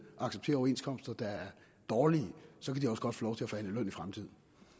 at acceptere overenskomster der er dårlige så kan de også godt få lov til at forhandle løn i fremtiden